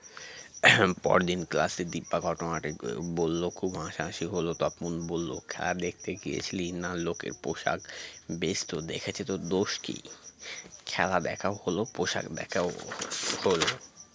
পরদিন class -এ দিপা ঘটনাটি আ বলল খুব হাসাহাসি হল তপন বলল খেলা দেখতে গিয়েছিলি না লোকের পোশাক বেশ তো দেখেছো তো দোষ কি খেলা দেখাও হল পোশাক দেখাও হল